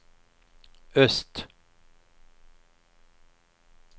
öst